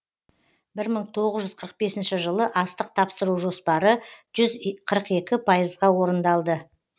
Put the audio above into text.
бір мың тоғыз жүз қырық бесінші жылы астық тапсыру жоспары жүз қырық екі пайызға орындалды